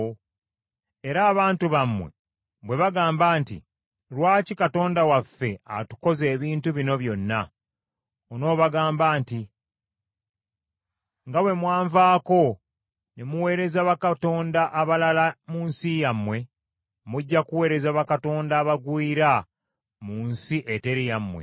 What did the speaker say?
Era abantu bammwe bwe bagamba nti, ‘Lwaki Katonda waffe atukoze ebintu bino byonna?’ Onoobagamba nti, ‘Nga bwe mwanvaako ne muweereza bakatonda abalala mu nsi yammwe, mujja kuweereza bakatonda abagwira mu nsi eteri yammwe.’